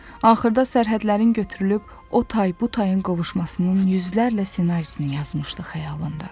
axırda sərhədlərin götürülüb o tay bu tayın qovuşmasının yüzlərlə ssenarisini yazmışdı xəyalında.